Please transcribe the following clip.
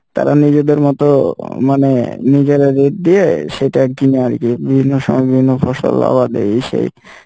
তারা নিজেদের মতো মানে নিজেরা rate দিয়ে সেটা কিনে আরকি বিভিন্ন সময় বিভিন্ন ফসল আবাদ এই সেই,